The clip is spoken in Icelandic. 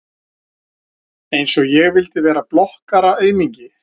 Einsog ég vildi vera blokkaraaumingi!